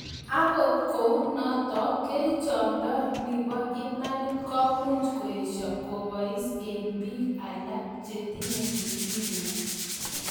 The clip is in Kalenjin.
Angot kou notok, kerichok ndo nibo imanitib komuch koesio kobais eng bik alak che tinye leukemia